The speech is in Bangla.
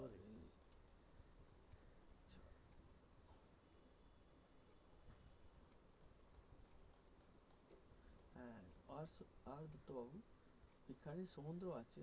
সমুদ্র আছে।